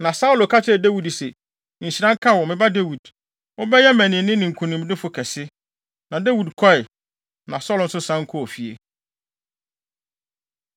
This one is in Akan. Na Saulo ka kyerɛɛ Dawid se, “Nhyira nka wo, me ba Dawid. Wobɛyɛ mmaninne ne nkonimdifo kɛse.” Na Dawid kɔe, na Saulo nso san kɔɔ fie.